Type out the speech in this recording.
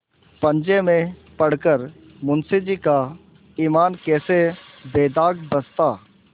पंजे में पड़ कर मुंशीजी का ईमान कैसे बेदाग बचता